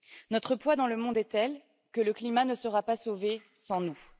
Notre poids dans le monde est tel que le climat ne sera pas sauvé sans nous.